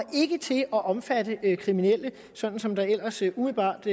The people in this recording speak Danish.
til at omfatte kriminelle sådan som der ellers umiddelbart